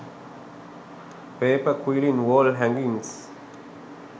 paper quilling wall hangings